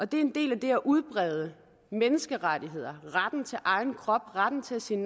det er en del af det at udbrede menneskerettigheder retten til egen krop retten til at sige